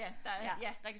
Ja der er ja